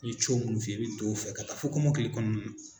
Ye munnu f'i ye i be don o fɛ ka taa fo kɔmɔkili kɔɔna na.